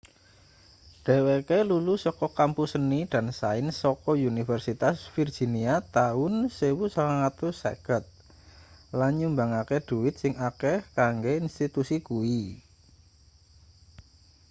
dheweke lulus saka kampus seni & sains saka universitas virginia taun 1950 lan nyumbangke dhuwit sing akeh kanggo institusi kuwi